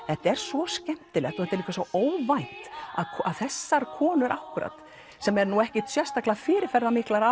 þetta er svo skemmtilegt og þetta er svo óvænt að þessar konur akkúrat sem eru nú ekkert sérstaklega fyrirferðarmiklar